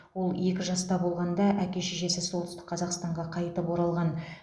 ол екі жаста болғанда әке шешесі солтүстік қазақстанға қайтып оралған